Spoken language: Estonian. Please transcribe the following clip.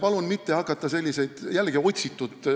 Palun mitte hakata jällegi otsitud